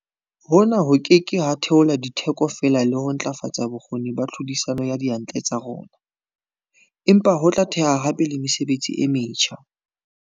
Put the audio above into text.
Hona ho ke ke ha theola ditheko fela le ho ntlafatsa bokgoni ba tlhodisano ya diyantle tsa rona, empa ho tla theha hape le mesebetsi e metjha.